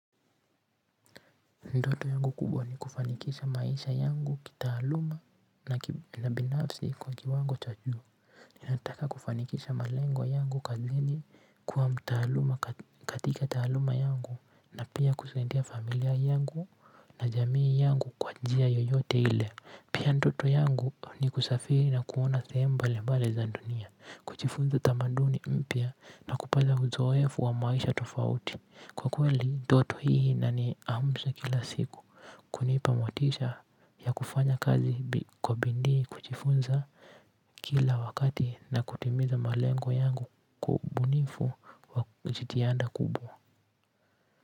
Ndoto yangu kubwa ni kufanikisha maisha yangu kitaaluma na binafsi kwa kiwango cha juu nataka kufanikisha malengo yangu kazini kuwa mtaaluma katika taaluma yangu na pia kusaidia familia yangu na jamii yangu kwa njia yoyote ile. Pia ndoto yangu ni kusafiri na kuona sehemu mbali mbali za dunia. Kujifunza tamaduni mpya na kupata uzoefu wa maisha tofauti. Kwa kweli ndoto hii na ni amsha kila siku kunipamotisha ya kufanya kazi kwa bidii kujifunza kila wakati na kutimiza malengo yangu kwa ubunifu wa jitianda kubwa.